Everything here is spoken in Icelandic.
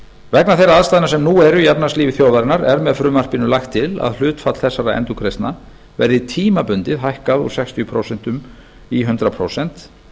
vegna þeirra aðstæðna sem nú eru í efnahagslífi þjóðarinnar er með frumvarpinu lagt til að hlutfall þessara endurgreiðslna verði tímabundið hækkað úr sextíu prósent í hundrað prósent